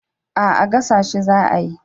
A'a gasa shi za a yi